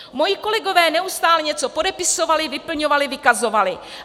Moji kolegové neustále něco podepisovali, vyplňovali, vykazovali.